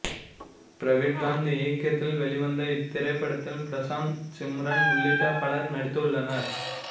பிரவீன்காந்த் இயக்கத்தில் வெளிவந்த இத்திரைப்படத்தில் பிரசாந்த் சிம்ரன் உள்ளிட்ட பலர் நடித்துள்ளனர்